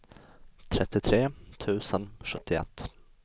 trettiotre tusen sjuttioett